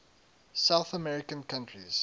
south american countries